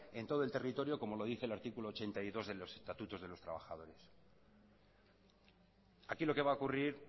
en todo en territorio como lo dice el artículo ochenta y dos de los estatutos de los trabajadores aquí lo que va a ocurrir